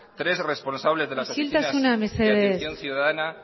tres responsables de las oficinas de atención ciudadana